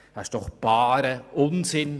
Das ist doch barer Unsinn!